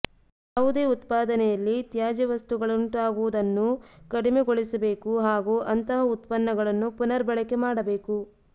ಯಾವುದೇ ಉತ್ಪಾದನೆಯಲ್ಲಿ ತ್ಯಾಜ್ಯವಸ್ತುಗಳುಂಟಾಗುವುದನ್ನು ಕಡಿಮೆಗೊಳಿಸಬೇಕು ಹಾಗು ಅಂತಹ ಉತ್ಪನ್ನಗಳನ್ನು ಪುನರ್ ಬಳಕೆ ಮಾಡಬೇಕು